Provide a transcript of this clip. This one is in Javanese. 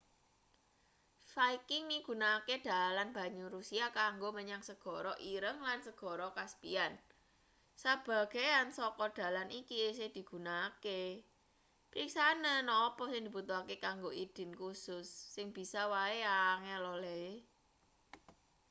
viking migunakake dalan banyu russia kanggo menyang segara ireng lan segara caspian sebagean saka dalan iki isih digunakake periksanen apa sing dibutuhake kanggo idin kusus sing bisa wae angel olehe